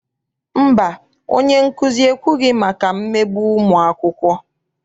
Mba, onyenkuzi ekwughị maka mmegbu ụmụakwụkwọ.